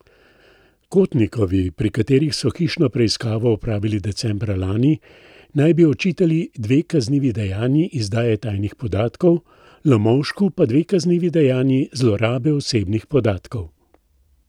Kotnikovi, pri kateri so hišno preiskavo opravili decembra lani, naj bi očitali dve kaznivi dejanji izdaje tajnih podatkov, Lomovšku pa dve kaznivi dejanji zlorabe osebnih podatkov.